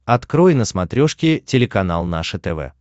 открой на смотрешке телеканал наше тв